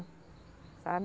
Sabe?